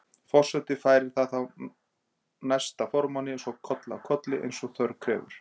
Forseti færir það þá næsta formanni og svo koll af kolli eins og þörf krefur.